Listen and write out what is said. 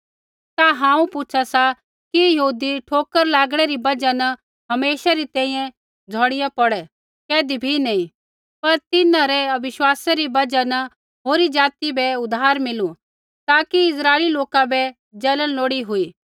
ता हांऊँ पूछा सा कि यहूदी ठोकर लागणै री बजहा न हमेशा री तैंईंयैं झोड़ीया पौड़ै कैधी भी नैंई पर तिन्हां रै अविश्वासा री बजहा न होरी ज़ाति बै उद्धार मिलु ताकि इस्राइली लोका बै जलन लोड़ी हुई